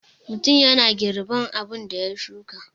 Mutum yana girban abun da ya shuka.